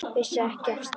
Vissi ekki af stríði.